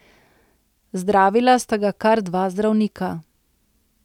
Zdravila sta ga kar dva zdravnika.